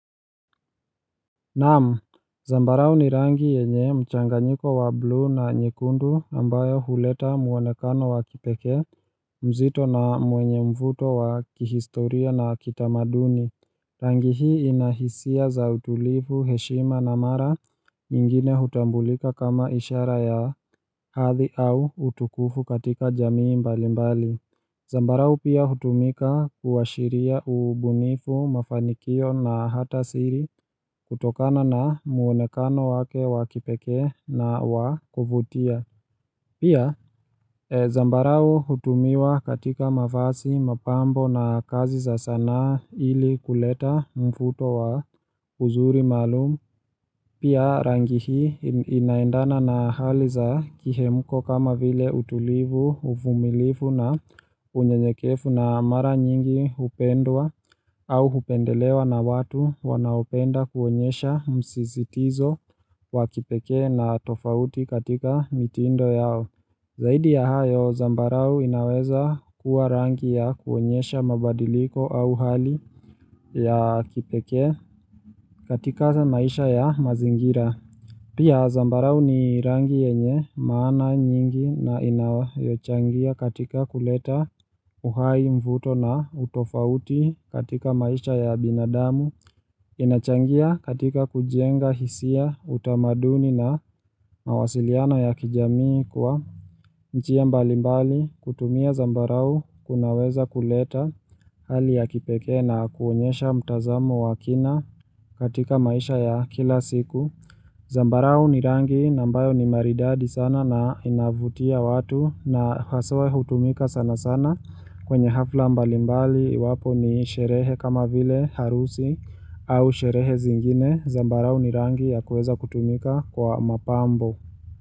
Naam, zambarao ni rangi yenye mchanganyiko wa bluu na nyekundu ambayo huleta mwonekano wa kipekee mzito na mwenye mvuto wa kihistoria na kitamaduni Rangi hii ina hisia za utulivu heshima na mara nyingine hutambulika kama ishara ya hadhi au utukufu katika jamii mbali mbali Zambarau pia hutumika kuwashiria ubunifu, mafanikio na hata siri kutokana na muonekano wake wakipekee na wakuvutia. Pia, zambarau hutumiwa katika mafazi, mapambo na kazi za sanaa ili kuleta mvuto wa uzuri maalum, pia rangi hii inaendana na hali za kihemuko kama vile utulivu, uvumilivu na unyeyekevu na mara nyingi hupendwa au hupendelewa na watu wanaopenda kuonyesha msizitizo wakipekee na tofauti katika mitindo yao. Zaidi ya hayo zambarau inaweza kuwa rangi ya kuonyesha mabadiliko au hali ya kipekee katika maisha ya mazingira Pia zambarau ni rangi yenye maana nyingi na inayochangia katika kuleta uhai, mvuto na utofauti katika maisha ya binadamu inachangia katika kujenga hisia, utamaduni na mawasiliano ya kijamii kwa njia mbalimbali. Kutumia zambarau kunaweza kuleta hali ya kipeke na kuonyesha mtazamo wa kina katika maisha ya kila siku. Zambarau ni rangi na mbayo ni maridadi sana na inavutia watu na haswa hutumika sana sana kwenye hafla mbalimbali iwapo ni sherehe kama vile harusi au sherehe zingine. Zambarau ni rangi ya kuweza kutumika kwa mapambo.